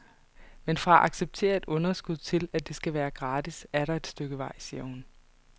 Men fra at acceptere et underskud til, at det skal være gratis, er der et stykke vej, siger hun.